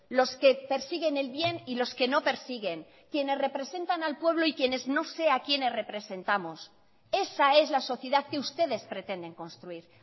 los que persiguen el bien y los que no persiguen quienes representan al pueblo y quienes no sé a quienes representamos esa es la sociedad que ustedes pretenden construir